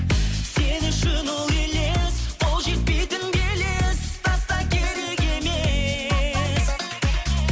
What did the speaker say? сен үшін ол елес қол жетпейтін белес таста керек емес